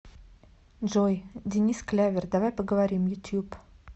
джой денис клявер давай поговорим ютуб